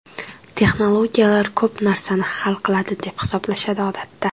Texnologiyalar ko‘p narsani hal qiladi deb hisoblashadi odatda.